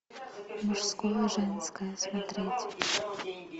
мужское женское смотреть